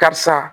Karisa